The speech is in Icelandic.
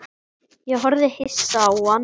Ég horfði hissa á hann.